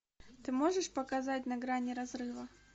ты можешь показать на грани разрыва